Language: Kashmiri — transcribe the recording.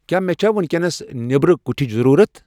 کیا مے چھا وینکینس نیبرٕ کوٹھچ ضرورت ؟